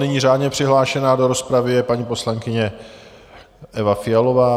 Nyní řádně přihlášená do rozpravy je paní poslankyně Eva Fialová.